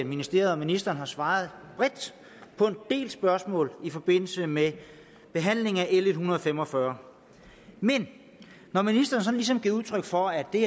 ministeriet og ministeren har svaret bredt på en del spørgsmål i forbindelse med behandlingen af l en hundrede og fem og fyrre men når ministeren sådan ligesom giver udtryk for at det